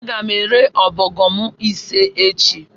Aga m ere ọbọgwụ m ise echi